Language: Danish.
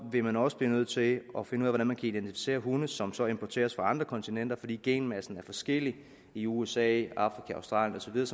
vil man også blive nødt til at finde ud af hvordan man kan identificere hunde som som importeres fra andre kontinenter fordi genmassen er forskellig i usa afrika australien